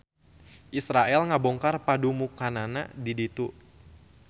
Israel ngabongkar padumukanna di ditu